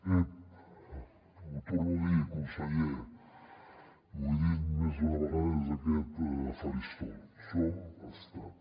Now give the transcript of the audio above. ep ho torno a dir conseller i ho he dit més d’una vegada des d’aquest faristol som estat